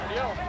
Nə oldu?